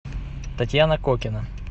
татьяна кокина